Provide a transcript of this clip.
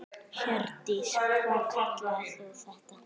Hjördís: Hvað kallar þú þetta?